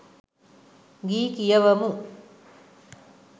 ගී කියවමු